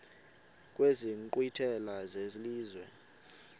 kwezi nkqwithela zelizwe